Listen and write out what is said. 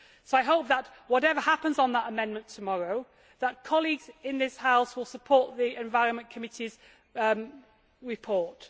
I hope that whatever happens on that amendment tomorrow, colleagues in this House will support the Environment Committee's report.